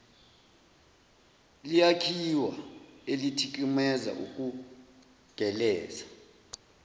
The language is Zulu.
liyakhiwa elithikameza ukugeleza